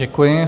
Děkuji.